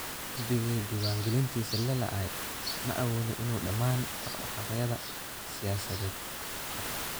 Xisbigii diwaan-gelintiisa la laalay ma awoodo inuu dhammaan dhaqdhaqaaqyada siyaasadeed qabto.